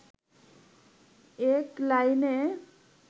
এক লাইনে